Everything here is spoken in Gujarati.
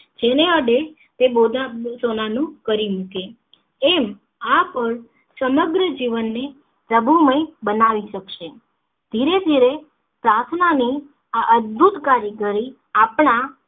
જેને આડે તે બો સોના નું કરી મૂકે એમ આ પળ સમગ્ર જીવન ની પ્રભુમય બનાવી શકશે ધીરે ધીરે પાર્થના નું આ અદભુત કારીગરી આપણા